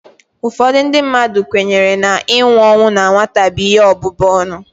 Ụfọdụ ndị mmadụ kwenyere na inwu ọnwụ na nwata bụ ihe ọbụbụ ọnụ